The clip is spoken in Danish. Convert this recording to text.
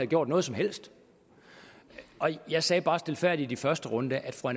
gjort noget som helst jeg sagde bare stilfærdigt i første runde at fru